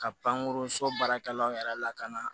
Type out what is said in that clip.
Ka pankurun so baarakɛlaw yɛrɛ lakana